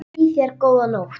Lemja saman ljóð og kvæði.